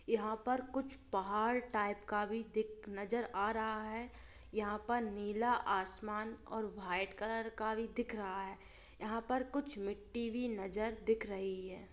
यहाँ पर कुछ पहाड़ टाइप का भी दिख नजर आ रहा है यहाँ पर नीला आसमान और वाइट कलर का भी दिख रहा है यहाँ पर कुछ मिट्टी भी नजर दिख रही है।